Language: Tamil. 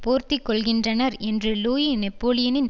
போர்த்திக்கொள்ளுகின்றனர் என்று லூயி நெப்போலியனின்